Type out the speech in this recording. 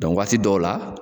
waati dɔw la.